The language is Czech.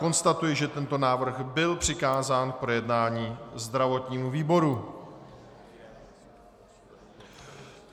Konstatuji, že tento návrh byl přikázán k projednání zdravotnímu výboru.